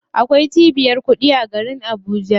Akwai cibiyar kuɗi a garin Abuja.